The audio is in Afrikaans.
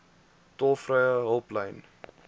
tolvrye hulplyn